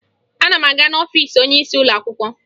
Ana m aga n'ọfiisi onyeisi ụlọakwụkwọ